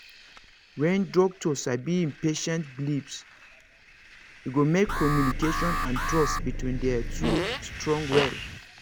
when doctor sabi him patient beliefs e go make communication and trust between their two strong well